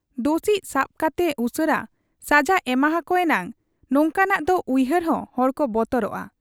ᱫᱚᱥᱤᱡ ᱥᱟᱵ ᱠᱟᱛᱮ ᱩᱥᱟᱹᱨᱟ ᱥᱟᱡᱟ ᱮᱢᱟᱦᱟᱠᱚ ᱮᱱᱟᱝ ᱱᱚᱝᱠᱟᱱᱟᱜ ᱫᱚ ᱩᱭᱦᱟᱹᱨ ᱦᱚᱸ ᱦᱚᱲᱠᱚ ᱵᱚᱛᱚᱨᱚᱜ ᱟ ᱾